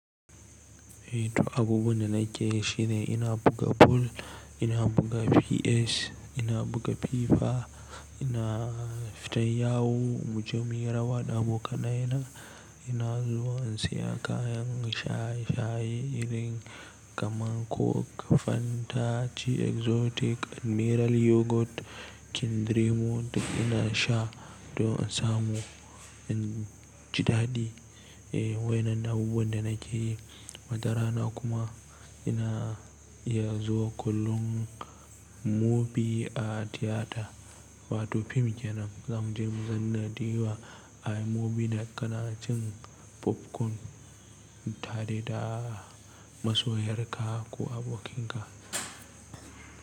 Eh to abubuwan da nake shine ina buga Boal, ina buga PS, ina buga FIFA, ina fita yawo, mu je mu yi rawa da abokanai na, ina zuwa in seya kayan shayi shayi irin kaman coke, Fanta, chi Exotic, Admiral Yogurt, Kindir-mo na sha don in samu inji dadi. Eh wayen nan abubuwan da nake yin. Wata rana kuma ina iya zuwa kollon movie a theater. Wato fim kenan zamu je mu zanna diwa a movie na kanacin popcorn tare da masoyar ka ko abokin ka.